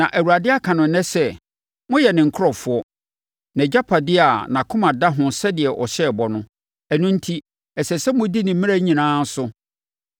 Na Awurade aka no ɛnnɛ sɛ, moyɛ ne nkurɔfoɔ, nʼagyapadeɛ a nʼakoma da ho sɛdeɛ ɔhyɛɛ bɔ no; ɛno enti, ɛsɛ sɛ modi ne mmara nyinaa so.